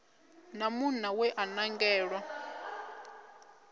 na munna we a nangelwa